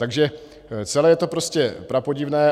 Takže celé je to prostě prapodivné.